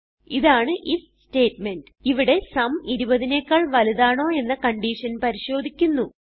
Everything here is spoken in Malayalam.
ഇതാണ് ഐഎഫ് സ്റ്റേറ്റ്മെന്റ് ഇവിടെ സും 20നെക്കാൾ വലുതാണോ എന്ന കൺഡിഷൻ പരിശോധിക്കുന്നു